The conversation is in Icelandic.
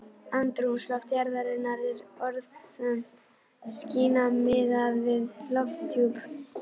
Andrúmsloft jarðarinnar er örþunnt skæni miðað við lofthjúp